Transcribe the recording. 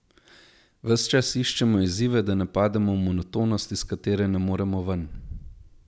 Ves čas iščemo izzive, da ne pademo v monotonost, iz katere ne moremo ven.